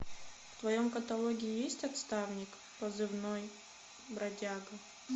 в твоем каталоге есть отставник позывной бродяга